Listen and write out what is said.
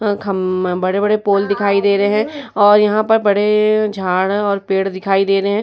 खम्ब बड़े-बड़े पोल दिखाई दे रहे हैं और यहाँ पर बड़े झाड़ और पेड़ दिखाई दे रहे हैं।